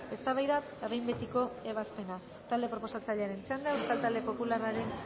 eztabaida eta behin betiko ebazpena talde proposatzailearen txanda euskal talde popularrean